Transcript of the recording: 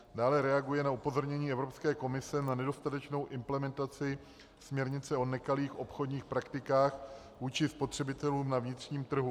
Dále reaguje na upozornění Evropské komise na nedostatečnou implementaci směrnice o nekalých obchodních praktikách vůči spotřebitelům na vnitřním trhu.